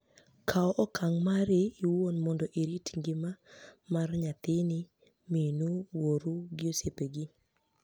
Kaw okanig mari iwuoni monido irit nigima mara niyathinii, miniu, wuoru gi osiepe gi